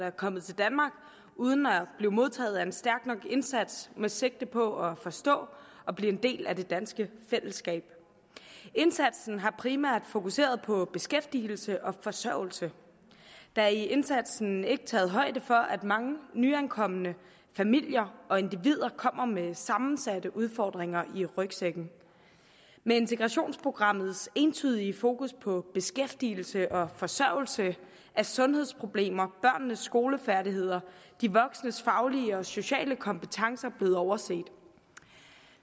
er kommet til danmark uden at blive modtaget af en stærk nok indsats med sigte på at forstå og blive en del af det danske fællesskab indsatsen har primært fokuseret på beskæftigelse og forsørgelse der er i indsatsen ikke taget højde for at mange nyankomne familier og individer kommer med sammensatte udfordringer i rygsækken med integrationsprogrammets entydige fokus på beskæftigelse og forsørgelse er sundhedsproblemer børnenes skolefærdigheder og de voksnes faglige og sociale kompetencer blevet overset